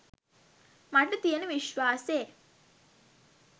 මට තියෙන විශ්වාසේ